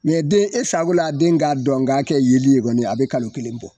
Mɛ den e safo la den k'a dɔn k'a kɛ yeli kɔni a bɛ kalo kelen bɔ.